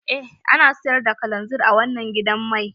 Eh ana siyar da kalanzir a wanan gidan mai.